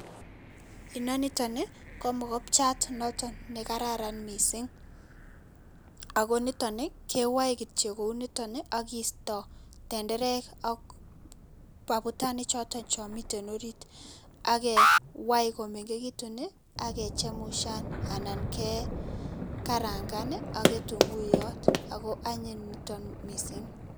Inonitoni ko mokopchiat ne kararan mising ako nitoni kewae kityo kouniton aki kiisto tenderek ak aputanik choton chemitei arit ak kewai komengekitu ake chemushan anan kekarangan ak kitunguiyot ako ko anyiny nitok mising.